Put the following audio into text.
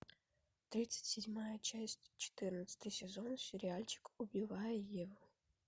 тридцать седьмая часть четырнадцатый сезон сериальчик убивая еву